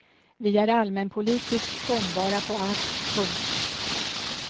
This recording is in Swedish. Vi är allmänpolitiskt gångbara på allt. punkt